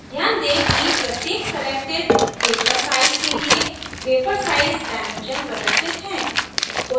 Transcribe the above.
ध्यान दें कि प्रत्येक selected paper size के लिए paper size डायमेंशन्स प्रदर्शित हैं